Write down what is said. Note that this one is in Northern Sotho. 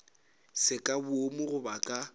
se ka boomo goba ka